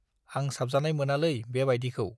आं साबजानाय मोनालै बे बाइदिखौ।